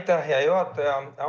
Aitäh, hea juhataja!